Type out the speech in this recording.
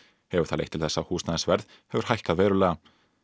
hefur það leitt til þess að húsnæðisverð hefur hækkað verulega